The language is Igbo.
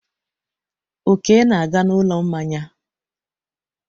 Oke na-aga n'ụlọ mmanya.